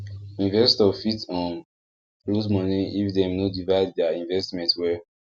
investor fit um lose money if dem no divide their investment well